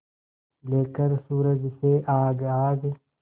लेकर सूरज से आग आग